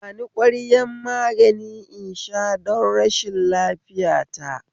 Bani ƙwayar magani in sha don rashin lafiya ta